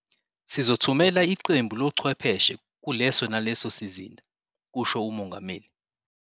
"Sizothumela iqembu lochwepheshe kuleso naleso sizinda," kusho uMongameli.